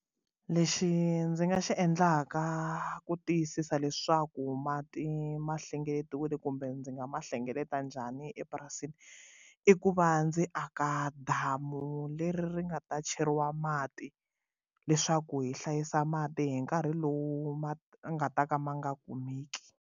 Lexi ndzi nga xi endlaka ku tiyisisa leswaku mati ma hlengeletiwile kumbe ndzi nga ma hlengeleta njhani epurasini i ku va ndzi aka damu leri ri nga ta cheriwa mati leswaku hi hlayisa mati hi nkarhi lowu ma nga ta ka ma nga kumeki.